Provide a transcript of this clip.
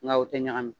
Nka u tɛ ɲagami